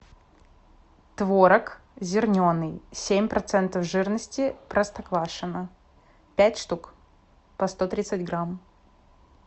творог зерненый семь процентов жирности простоквашино пять штук по сто тридцать грамм